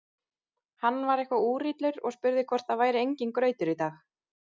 Hann var eitthvað úrillur og spurði hvort það væri enginn grautur í dag.